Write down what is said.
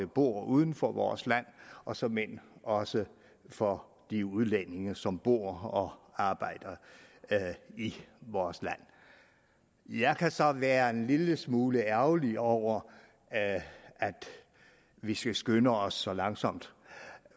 bor uden for vores land og såmænd også for de udlændinge som bor og arbejder i vores land jeg kan så være en lille smule ærgerlig over at vi skal skynde os så langsomt